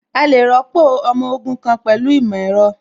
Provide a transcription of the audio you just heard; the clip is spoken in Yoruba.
A lè rọ́pò ọmọ ogun pẹ̀lú ìmọ̀ ẹ̀rọ